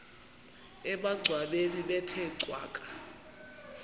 emangcwabeni bethe cwaka